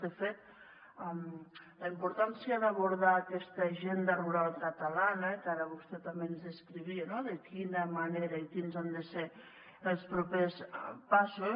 de fet la importància d’abordar aquesta agenda rural catalana que ara vostè també ens descrivia de quina manera i quins han de ser els propers passos